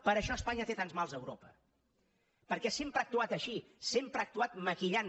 per això espanya té tants mals a europa perquè sempre ha actuat així sempre ha actuat maquillant